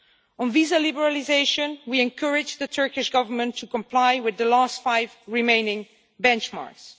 On visa liberalisation, we encourage the Turkish Government to comply with the last five remaining benchmarks.